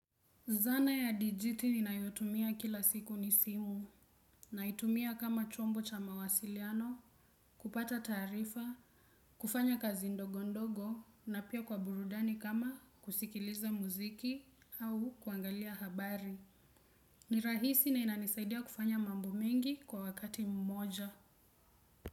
Zana ya dijiti ninayotumia kila siku ni simu, naitumia kama chombo cha mawasiliano, kupata taarifa, kufanya kazi ndogo ndogo na pia kwa burudani kama kusikiliza muziki au kuangalia habari. Ni rahisi na inanisaidia kufanya mambo mengi kwa wakati mmoja.